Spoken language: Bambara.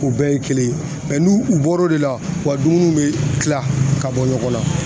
U bɛɛ ye kelen ye nu u bɔr'o de la u ka dumuniw bɛ kila ka bɔ ɲɔgɔn na.